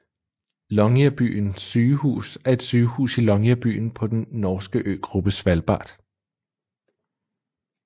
Longyearbyen Sygehus er et sygehus i Longyearbyen på den norske øgruppe Svalbard